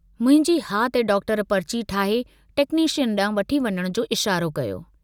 मुंहिंजी हा ते डॉक्टर पर्ची ठाहे टेक्नीशियन डांहुं वठी वञण जो इशारो कयो।